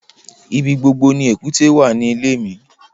Ibí gbogbo ni èkútè wà ní ilẹ̀ mi